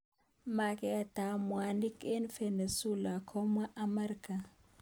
Maket ab mwanik. eng Venezuela komwa Amerika.